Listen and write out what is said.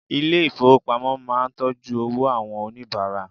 Ilé ìfowópamọ́ máà ń tọ́jú owó àwọn oníbàárà.